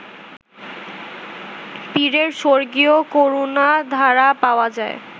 পীরের স্বর্গীয় করুণাধারা পাওয়া যায়